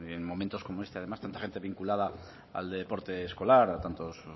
en momentos como este además tanta gente vinculada al deporte escolar a tantos